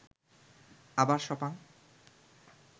আবার সপাং